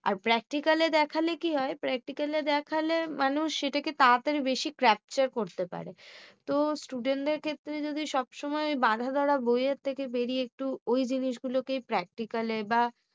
আর particle এ দেখালে কি হয়। particle এ টা দেখালে মানুষ এটাকে তাড়াতাড়ি বেশি capture করতে পারে। তো student দের ক্ষেত্রে যদি সব সময় বাধা ধরা বই এর থেকে বেরিয়ে জিনিসগুলোকে particle বা